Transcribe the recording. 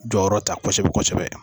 Jɔyɔrɔ ta kosɛbɛ kosɛbɛ